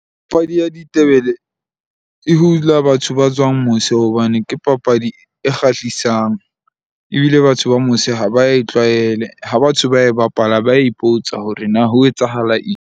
Papadi ya ditebele e hula batho ba tswang mose hobane ke papadi e kgahlisang. Ebile batho ba mose ha ba e tlwaele. Ha batho ba e bapala, ba ipotsa hore na ho etsahala eng.